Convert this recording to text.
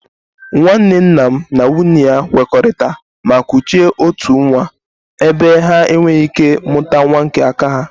Nwanne nna m na nwunye ya kwekoritara ma kuchie otu nwa ebe ha e nwere ike mụta nwa nke aka ha